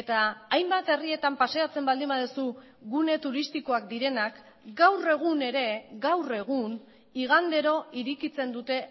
eta hainbat herrietan paseatzen baldin baduzu gune turistikoak direnak gaur egun ere gaur egun igandero irekitzen dute